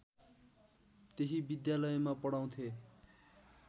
त्यही विद्यालयमा पढाउँथे